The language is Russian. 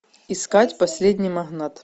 искать последний магнат